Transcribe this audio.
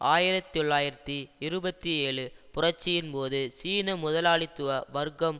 ஆயிரத்தி தொள்ளாயிரத்தி இருபத்தி ஏழு புரட்சியின் போது சீன முதலாளித்துவ வர்க்கம்